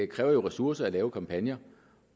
kræver jo ressourcer at lave kampagner